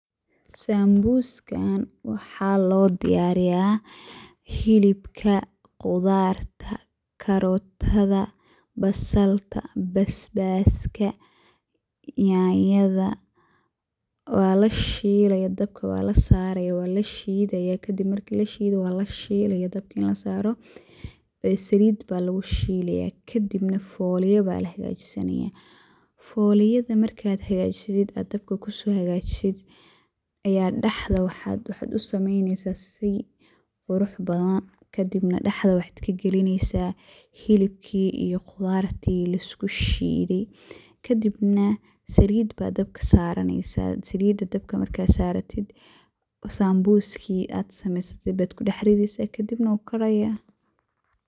Sambuska waxa lodiyarua hilibka, qudarta, karotada, basasha, basbaska, yanyada aya lashilaya dabka lasaraya walashidaya kadibna marki lashido walashilaya dabka inti lasaro aya salid lugushilaya kadibna foliyo aya lahagajisanaya, foliyada markad hagajisid ad dabka kusohagajisid ayad dhexda waxad usameneysa si qurux badan kadib dhexda waxad kagalineysa hilibki iyo qudarti laiskushidey kadibna salid ayad dabka saraneysa. Salida markad dabka saritid sambuski ayad kudhexrideysa kadibna wu karaya.